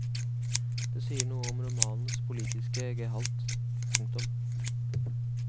Det sier noe om romanens politiske gehalt. punktum